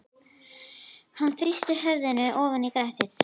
Hann þrýsti höfðinu ofan í grasið.